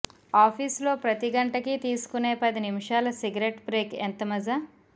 office లో ప్రతి గంటకీ తీసుకునే పదినిముషాల సిగరెట్ బ్రేక్ ఎంత మజా